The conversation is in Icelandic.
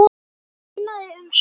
Það munaði um sólina.